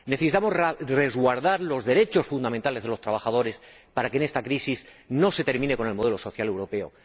Necesitamos resguardar los derechos fundamentales de los trabajadores, para que en esta crisis no se termine con el modelo social europeo.